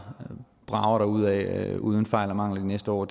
brager derudad uden fejl og mangler de næste år